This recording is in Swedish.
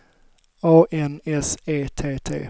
A N S E T T